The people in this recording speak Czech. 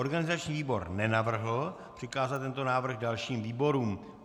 Organizační výbor nenavrhl přikázat tento návrh dalším výborům.